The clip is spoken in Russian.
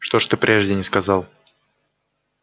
что ж ты прежде не сказал